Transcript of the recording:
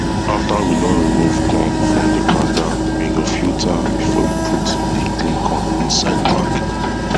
after we don remove corn from the kanda we go filter am before we put the clean corn inside bag